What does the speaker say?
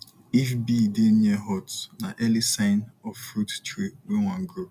if bee dey near hut na early sign of fruit tree wey wan grow